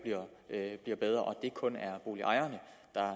bliver bedre så ikke kun er boligejerne